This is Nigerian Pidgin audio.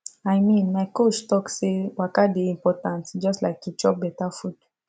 i mean my coach talk say waka dey important just like to chop better food